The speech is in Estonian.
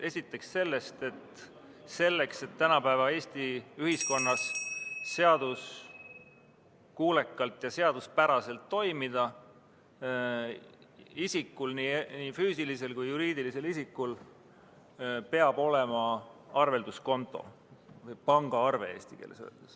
Esiteks sellest, et selleks, et tänapäeva Eesti ühiskonnas seaduskuulekalt ja seaduspäraselt toimida, peab nii füüsilisel kui ka juriidilisel isikul olema arvelduskonto ehk pangaarve.